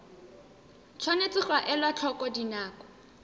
tshwanetse ga elwa tlhoko dinako